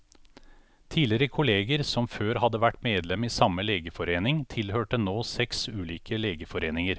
Tidligere kolleger, som før hadde vært medlem i samme legeforening, tilhørte nå seks ulike legeforeninger.